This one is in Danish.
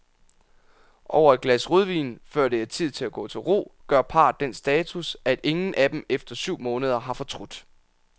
Over et glas rødvin, før det er tid at gå til ro, gør parret den status, at ingen af dem efter syv måneder har fortrudt.